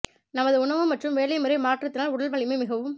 நமது உணவு மற்றும் வேலை முறை மாற்றத்தினால் உடல் வலிமை மிகவும்